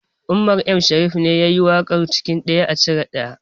Umar M shariff ne yayi waƙar cikin ɗaya a cire ɗaya